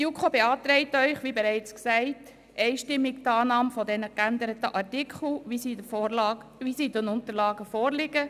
Die JuKo beantragt Ihnen einstimmig die Annahme dieser geänderten Artikel, wie diese in den Unterlagen vorliegen.